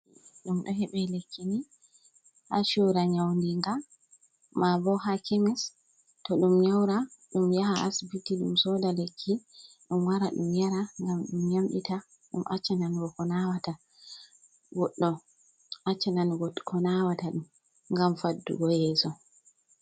Ɗum ɗo heɓe lekki ni ha chura nyawdiga ma bo ha kemis to ɗum nyara ɗum yaha asibiti ɗum soda lekki ɗum wara ɗum yara ngam ɗum yamɓita ɗum acchaka nanugo ko nawata, goɗɗo accha nanugo ko nawata ɗum ngam faɗugo yesso.